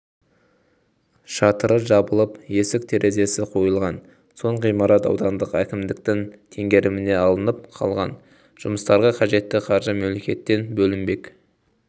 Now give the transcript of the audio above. шатыры жабылып есік-терезесі қойылған соң ғимарат аудандық әкімдіктің теңгеріміне алынып қалған жұмыстарға қажетті қаржы мемлекеттен бөлінбек